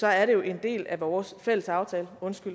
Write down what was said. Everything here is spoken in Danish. er det jo en del af vores fælles aftale